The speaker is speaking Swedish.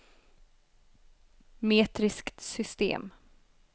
metriskt system